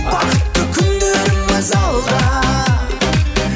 бақытты күндеріміз алда